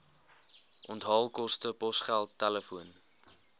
onthaalkoste posgeld telefoon